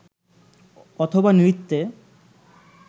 অথবা নৃত্যে